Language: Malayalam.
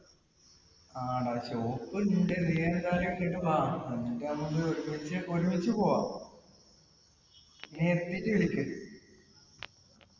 ആട shop എന്നിട്ട് നമുക്ക് ഒരുമിച്ച് ഒരുമിച്ച് പൊവ്വാം നീ എത്തീട്ട് വിളിക്ക്